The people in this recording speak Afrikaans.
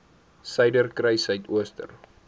suiderkruissuidooster